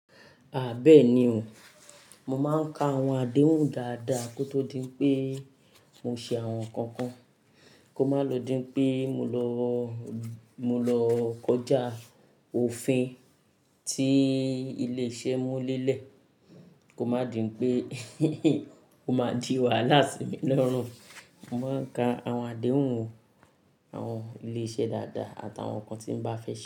Bẹ́ẹ̀ ni o. Mo máa n ka àwọn àdéhùn dáadáa ko tó dín pé mo ṣe àwọn nǹkan kan, kí ó má ló dín pé mó lọ kọjá òfin tí ilé-iṣẹ́ mú lélẹ̀, kó má dín pé ó máa jì wá láàsì mí lọ́rùn. Mo máa ń ka àwọn àdéhùn o, àwọn ilé-iṣẹ́ dáadáa àti àwọn nǹkan tí mó bá fẹ́ ṣe.